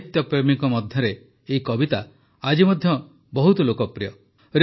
ସାହିତ୍ୟପ୍ରେମୀଙ୍କ ମଧ୍ୟରେ ଏହି କବିତା ଆଜି ମଧ୍ୟ ବହୁତ ଲୋକପ୍ରିୟ